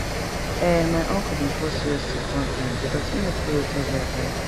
ehn my uncle bin fall serious sick one time because e no follow hiv advice